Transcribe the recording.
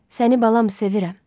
Səni balam sevirəm.